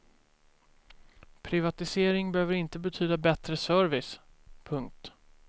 Privatisering behöver inte betyda bättre service. punkt